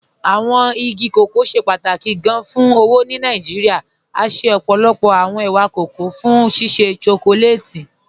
Awọn igi kọkọ ṣẹ pátákì gán fún owó ni Nàìjíríà, à ṣẹ ọ́pọ́lọ́pọ̀ awọn è̩wà kọkọ̀ fún ṣíṣẹ́ shọkọlátì.